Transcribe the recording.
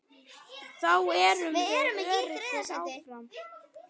Þá erum við öruggir áfram.